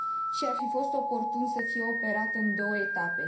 și ar fi fost oportun să fie operată în două etape.